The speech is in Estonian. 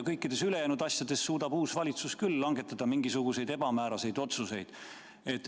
Kõikides ülejäänud asjades suudab uus valitsus küll langetada mingisuguseid ebamääraseid otsuseid.